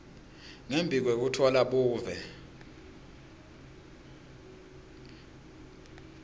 ngembi kwekutfola buve